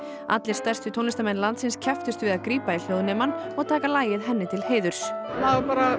allir stærstu tónlistarmenn landsins kepptust við að grípa í hljóðnemann og taka lagið henni til heiðurs maður bara